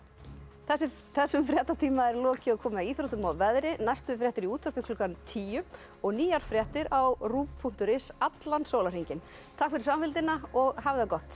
þessum þessum fréttatíma er lokið og komið að íþróttum og veðri næstu fréttir í útvarpi klukkan tíu og nýjar fréttir á ruv punktur is allan sólarhringinn takk fyrir samfylgdina og hafið það gott